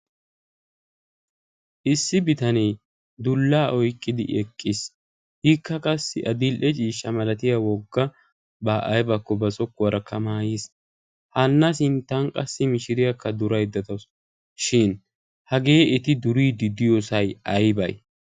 issi bitanee tooraa oyqqidi eqqiis. ikka qassi tooraa oyqqidi issi mishiriya a sintan dawusu. hagee qassi aybee?